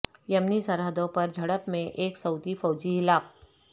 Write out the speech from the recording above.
یمنی سرحدوں پر جھڑپ میں ایک سعودی فوجی ہلاک